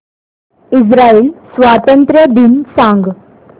Israel स्वातंत्र्य दिन सांग